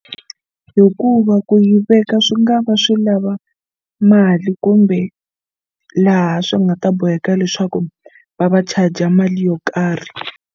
Hikuva ku yi veka swi nga va swi lava mali kumbe laha swi nga ta boheka leswaku va va charger mali yo karhi.